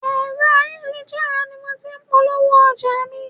Ẹ̀rọ ayélujára ni mo ti ń polówó ọjà mi.